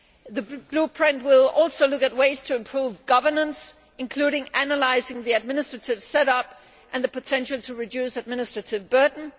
The Blueprint will also look at ways to improve governance, including analysing the administrative setup and the potential to reduce administrative burden.